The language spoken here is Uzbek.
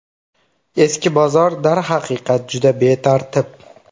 Eski bozor darhaqiqat juda betartib.